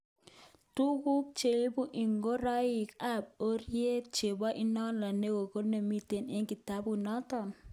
Tukuk cheibu inkoroik kap orit chebo idonyo ne ake nemiten eng kitabut noton?